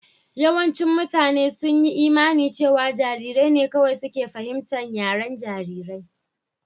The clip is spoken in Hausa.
Yawancin mutane sun yi imanin cewa jarirai ne kawai ke fahimtar yaren jarirai.